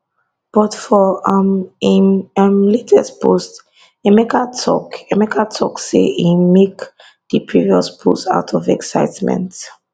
but for um im um latest post emeka tok emeka tok say im make di previous post out of excitement